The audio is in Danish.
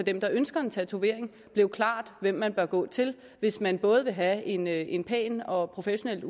dem der ønsker en tatovering blev klart hvem man bør gå til hvis man både vil have en en pæn og professionelt